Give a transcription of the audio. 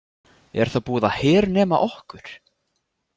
Er þá búið að hernema okkur?